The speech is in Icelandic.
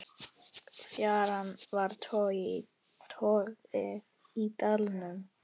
Fjaran var torgið í dalnum.